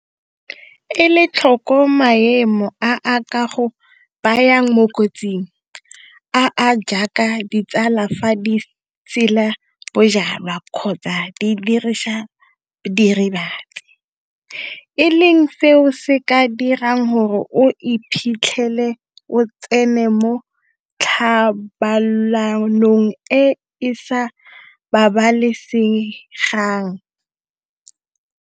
Ela tlhoko maemo a a ka go bayang mo kotsing, a a jaaka ditsala fa di sela bojalwa kgotsa di dirisa diritibatsi, e leng seo se ka dirang gore o iphitlhele o tsene mo thobalanong e e sa babalesegang.